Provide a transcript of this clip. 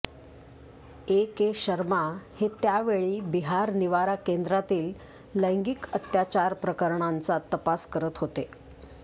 एके शर्मा हे त्या वेळी बिहार निवारा केंद्रातील लैंगिक अत्याचार प्रकरणांचा तपास करत होते